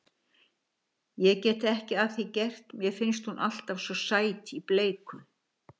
Ég get ekki að því gert, mér finnst hún alltaf svo sæt í bleiku.